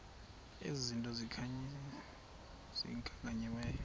ezi zinto zikhankanyiweyo